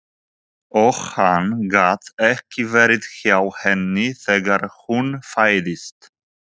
Og hann gat ekki verið hjá henni þegar hún fæddist.